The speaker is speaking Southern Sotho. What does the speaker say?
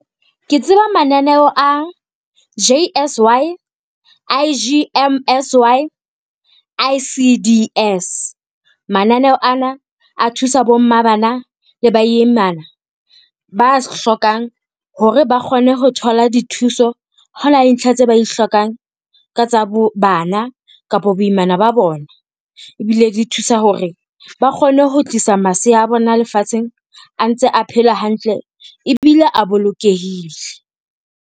Ke tseba mananeo a J_S_Y, I_G_M_S_Y, I_C_D_S. Mananeo ana a thusa bo mma bana le ba imana, ba hlokang hore ba kgone ho thola dithuso hao na le ntlha tse ba di hlokang ka tsa bana kapo boimana ba bona. Ebile di thusa hore ba kgone ho tlisa masea a bona lefatsheng a ntse a phela hantle ebile a bolokehile.